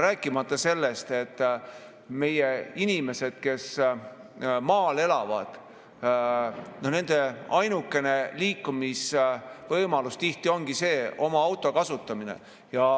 Rääkimata sellest, et meie inimeste, kes elavad maal, ainukene liikumisvõimalus tihti ongi oma auto kasutamine.